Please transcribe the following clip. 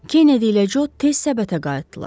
Kennedy ilə Co tez səbətə qayıtdılar.